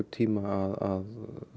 tíma að